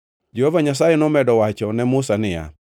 Jehova Nyasaye nomedo wachone Musa niya,